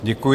Děkuji.